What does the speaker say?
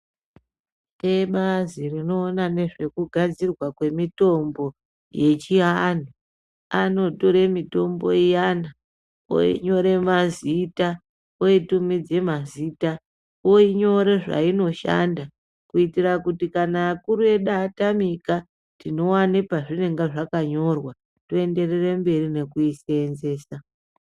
Ebazi rinoona nezve ku gadzirwa kwe mitombo ye chi vantu anotore mitombo iyani oyi nyora mazita oyi tumidze mazita oyinyora zvainoshanda kuitira kuti kana akuru edu atamika tinowane pazvinenge zvaka nyorwa toenderere mberi ngekui senzesa.